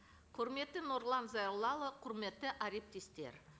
құрметті нұрлан зайроллаұлы құрметті әріптестер